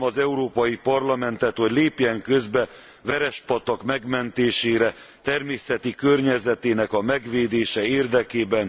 Kérem az Európai Parlamentet, hogy lépjen közbe Verespatak megmentésére, természeti környezetének megvédése érdekében.